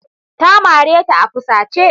Ta mare ta a fusace.